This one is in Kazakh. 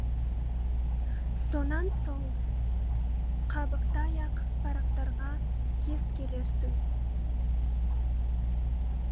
сонан соң қабықтай ақ парақтарға кез келерсің